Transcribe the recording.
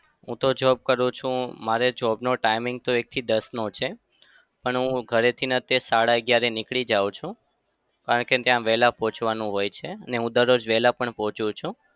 હું તો job કરું છું મારે job નો timing તો એકથી દસનો છે પણ હું ઘરેથી તે સાડા અગિયાર નીકળી જાઉં છું કારણ કે ત્યાં વેલા પહોચાવાનું હોય છે અને હું દરરોજ વેલા પણ પહોચું છું.